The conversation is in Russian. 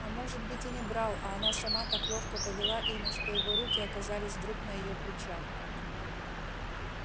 а может быть и не брал а она сама так ловко повела ими что его руки оказались вдруг на её плечах